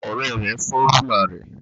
Ọrẹ rẹ fọ rulạ rẹ